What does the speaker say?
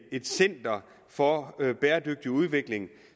et center for bæredygtig udvikling